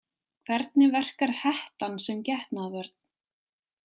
Hvernig verkar hettan sem getnaðarvörn?